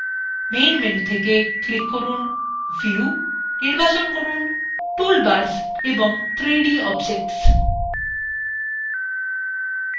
main menu থেকে click from view নির্বাচন from toolbars এবং 3dobjects